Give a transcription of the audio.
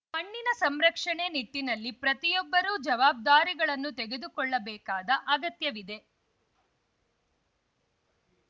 ಮಣ್ಣಿನ ಸಂರಕ್ಷಣೆ ನಿಟ್ಟಿನಲ್ಲಿ ಪ್ರತಿಯೊಬ್ಬರೂ ಜವಾಬ್ದಾರಿಗಳನ್ನು ತೆಗೆದುಕೊಳ್ಳಬೇಕಾದ ಅಗತ್ಯವಿದೆ